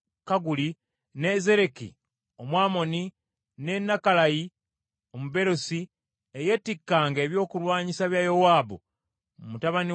ne Zereki Omwamoni, ne Nakalayi Omubeerosi, ey’etikkanga ebyokulwanyisa bya Yowaabu mutabani wa Zeruyiya,